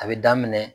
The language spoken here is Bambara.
A bɛ daminɛ